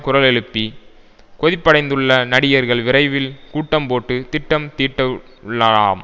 குரலெழுப்பி கொதிப்படைந்துள்ள நடிகர்கள் விரைவில் கூட்டம் போட்டு திட்டம் தீட்ட உள்ளராம்